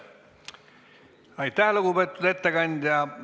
Aitäh, lugupeetud ettekandja!